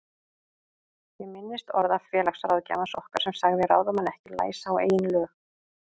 Ég minnist orða félagsráðgjafans okkar sem sagði ráðamenn ekki læsa á eigin lög.